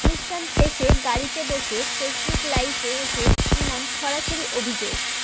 অনুষ্ঠান শেষে গাড়িতে বসে ফেসবুক লাইভে এসে ইমন সরাসরি অভিযোগ